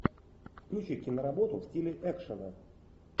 включи киноработу в стиле экшена